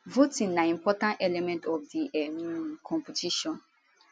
voting na important element of di um competition